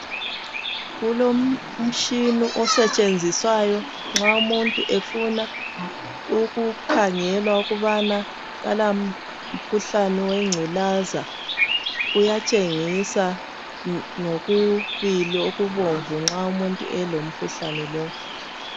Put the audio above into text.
Kulomtshina osetshenziswayo nxa umuntu efuna ukukhangelwa ukubana akala mkhuhlane wengculaza. Uyatshengisa ngokubili okubomvu. nxa umuntu elomkhuhlane wanalowu.